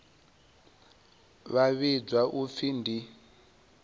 vha vhidzwa u pfi ndi